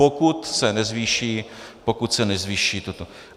Pokud se nezvýší, pokud se nezvýší toto.